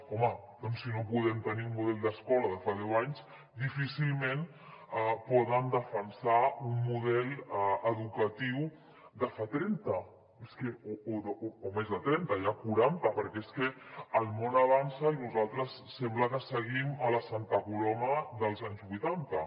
home doncs si no podem tenir un model d’escola de fa deu anys difícilment poden defensar un model educatiu de fa trenta o més de trenta ja quaranta perquè és que el món avança i nosaltres sembla que seguim a la santa coloma dels anys vuitanta